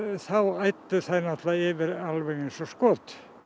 þá æddu þær náttúrulega yfir eins og skot